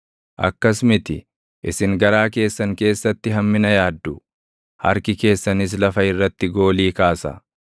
Akkas miti; isin garaa keessan keessatti hammina yaaddu; harki keessanis lafa irratti goolii kaasa.